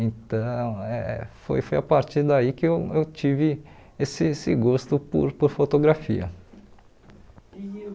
Então, eh foi foi a partir daí que eu eu tive esse esse gosto por por fotografia.